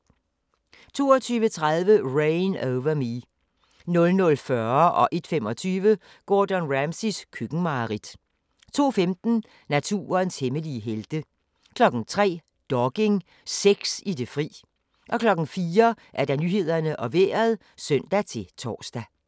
22:30: Reign Over Me 00:40: Gordon Ramsays køkkenmareridt 01:25: Gordon Ramsays køkkenmareridt 02:15: Naturens hemmelige helte 03:00: Dogging – sex i det fri 04:00: Nyhederne og Vejret (søn-tor)